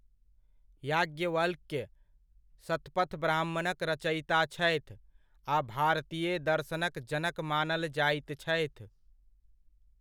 याज्ञवल्क्य, सतपथ ब्राह्मणक रचयिता छथि आ भारतीय दर्शनक जनक मानल जाइत छथि।